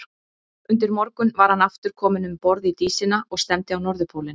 Undir morgun var hann aftur kominn um borð í Dísina og stefndi á Norðurpólinn.